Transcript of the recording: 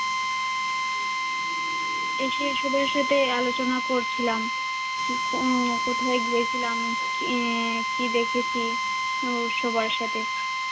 এসে সবার সাথে আলোচনা করছিলাম কি আহ কোথায় গিয়েছিলাম আহ কি দেখেছি, অবশ্য বাসাতে।